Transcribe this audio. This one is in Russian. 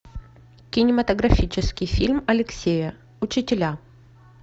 кинематографический фильм алексея учителя